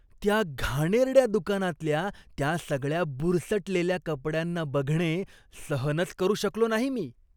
त्या घाणेरड्या दुकानातल्या त्या सगळ्या बुरसटलेल्या कपड्यांना बघणे सहनच करू शकलो नाही मी.